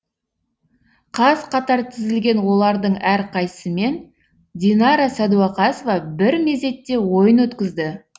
қаз қатар тізілген олардың әрқайсымен динара сәдуақасова бір мезетте ойын өткізді